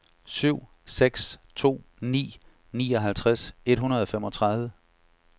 syv seks to ni nioghalvtreds et hundrede og femogtredive